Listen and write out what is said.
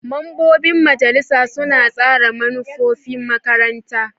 Mambobin majalisar suna tsara manufofin makaranta.